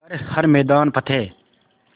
कर हर मैदान फ़तेह